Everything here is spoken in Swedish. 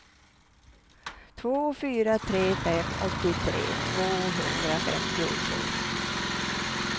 två fyra tre fem åttiotre tvåhundrafemtiotvå